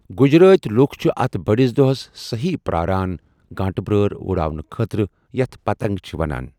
گجراتی لۄکھ چھِ اتھ بٔڑِس دۄہس سہی پرٛاران گانٛٹہٕ بیٛٲر اُڑاونہٕ خٲطرٕ یتھ 'پتنگ' چھِ وَنان۔